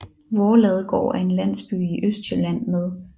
Voerladegård er en landsby i Østjylland med